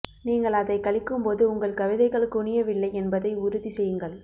நீங்கள் அதை கழிக்கும்போது உங்கள் கவிதைகள் குனியவில்லை என்பதை உறுதி செய்யுங்கள்